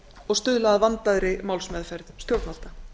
og stuðla að vandaðri málsmeðferð stjórnvalda